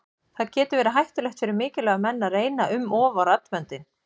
Það getur verið hættulegt fyrir mikilvæga menn að reyna um of á raddböndin.